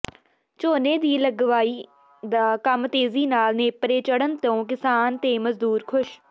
ਝੋਨੇ ਦੀ ਲਵਾਈ ਦਾ ਕੰਮ ਤੇਜ਼ੀ ਨਾਲ ਨੇਪਰੇ ਚਡ਼੍ਹਨ ਤੋਂ ਕਿਸਾਨ ਤੇ ਮਜ਼ਦੂਰ ਖ਼ੁਸ਼